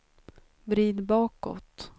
vrid bakåt